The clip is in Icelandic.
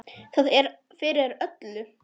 Það er fyrir öllu.